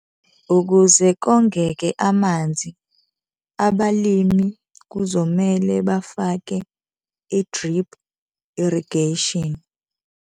Ukuze kongeke amanzi, abalimi kuzomele bafake i-drip irrigation.